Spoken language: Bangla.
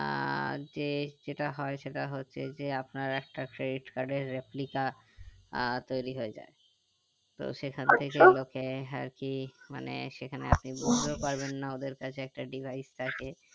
আহ যে যেটা হয় সেটা হচ্ছে যে আপনার একটা credit card এর replica আহ তৌরি হয়ে যাই তো সেখান থেকে ও গুলোকে আরকি মানে সেখানে আপনি বুঝতেও পারবেন না ওদের কাছে একটা device থাকে